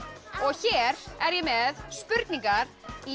hér er ég með spurningar í